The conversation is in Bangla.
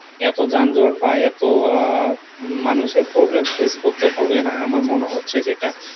এতো যানজট বা এতো আহ মানুষের problem face করতে হবে না আমার মনে হচ্ছে যেটা